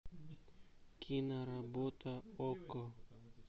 киноработа окко